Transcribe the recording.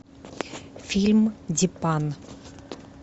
фильм дипан